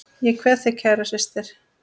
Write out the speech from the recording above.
Ég kveð þig kæra systir.